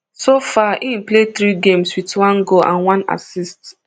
so far im play three games wit one goal and one assist